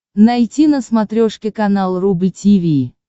найти на смотрешке канал рубль ти ви